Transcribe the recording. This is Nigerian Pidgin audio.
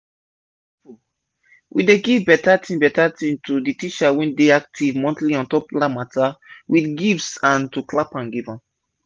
we dey giv beta tin beta tin to de teacher wey dey active monthly ontop land mata with gifts and to clap hand giv am